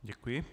Děkuji.